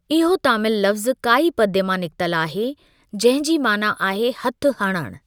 इहो तामिल लफ़्ज़ु काई पद्य मां निकितल आहे जंहिं जी माना आहे हथ हणणु।